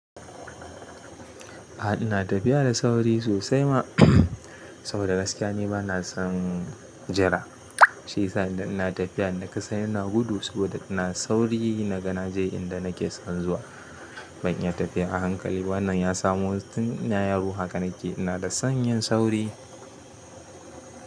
A'a ina tafiya da sauri sosai ma, saboda gaskiya ni bana son jira. Shi yasa idan ina tafiya yanda kasan ina gudu saboda ina sauri na ga naje inda nake son zuwa. Ban iya tafiya a hankali ba. Wannan ya samo tun ina yaro hakanake. Ina da sanyin sauri.